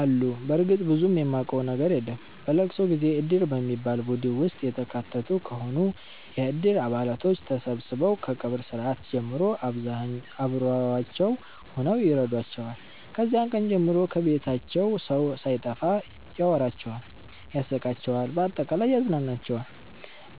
አሉ በርግጥ ብዙም ማቀው ነገር የለም። በለቅሶ ጊዜ እድር በሚባል ቡድን ውስጥ የተካተቱ ከሆኑ የእድሩ አባላቶች ተሠብስበው ከቀብር ስርአት ጀምሮ አብሮዋቸው ሁነው ይረዷቸዋል። ከዚያ ቀን ጀምሮ ከቤታቸው ሠው ሣይጠፋ ያወራቸዋል ያስቃቸዋል በአጠቃላይ ያፅናናቸዋል።